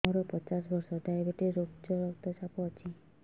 ମୋର ପଚାଶ ବର୍ଷ ଡାଏବେଟିସ ଉଚ୍ଚ ରକ୍ତ ଚାପ ଅଛି